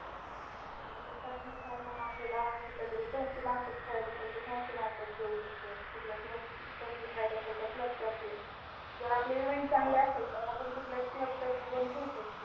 त्या मग आपल्याला कुठल्यातरी संस्थेमार्फत खेळायचं असेल तर संस्थेमार्फत खेळू शकतो. कुठल्या club तर्फे खेळायचं असेल तर club तर्फे जर आपले event चांगले असेल तर आपण club तर्फे पण खेळू शकतो.